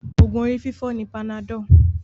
Oògùn orí fífọ́ ni panadol